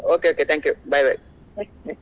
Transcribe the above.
Okay okay thank you bye bye.